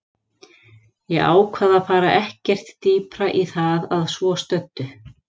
Ég ákvað að fara ekkert dýpra í það að svo stöddu.